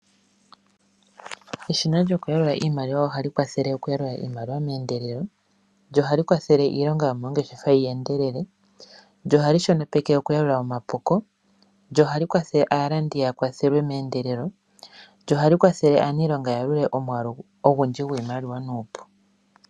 Eshina lyokuyalula iimaliwa ohali kwathele okuyalula iimaliwa mendelelo ,ndyo ohali kwathele iilonga yomongeshefa yi endelele, ndyo ohali shonopeke omapuko, ndyo ohali kwathele aalandi ya kwathelwe mendelelo, ndyo ohali kwathele aaniilonga yalulile omwaalu ogundji gwiimaliwa nupu.